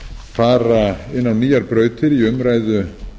fara inn á nýjar brautir í umræðu